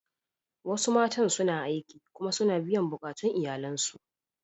Wasu matan suna aiki kuma suna biyan bukatun iyalansu.